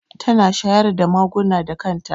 Tana shayar da maguna da kan ta